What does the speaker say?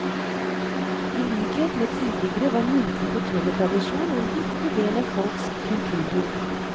I likhet med tidligere var muntlig fortellertradisjon en viktig del av folks kulturliv.